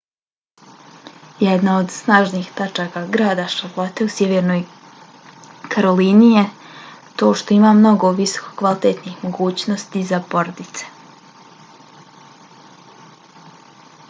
jedna od snažnih tačaka grada charlotte u sjevernoj karolini je to što ima mnogo visokokvalitetnih mogućnosti za porodice